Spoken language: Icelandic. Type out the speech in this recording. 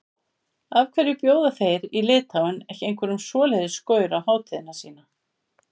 Af hverju bjóða þeir í Litháen ekki einhverjum svoleiðis gaur á hátíðina sína?